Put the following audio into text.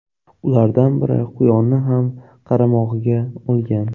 Ulardan biri quyonni ham qaramog‘iga olgan.